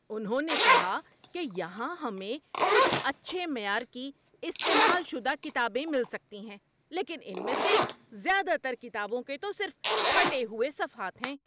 انہوں نے کہا کہ یہاں ہمیں کچھ اچھے معیار کی، استعمال شدہ کتابیں مل سکتی ہیں لیکن ان میں سے زیادہ تر کتابوں کے تو صرف پھٹے ہوئے صفحات ہیں۔